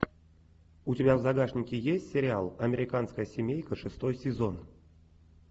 у тебя в загашнике есть сериал американская семейка шестой сезон